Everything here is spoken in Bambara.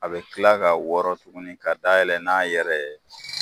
A bɛ kila ka wɔɔrɔ tugunni ka dayɛlɛn n' a yɛrɛ ye.